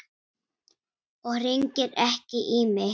Og hringir ekki í mig.